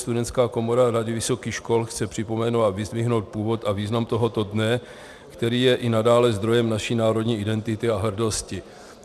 Studentská komora Rady vysokých škol chce připomenout a vyzdvihnout původ a význam tohoto dne, který je i nadále zdrojem naší národní identity a hrdosti.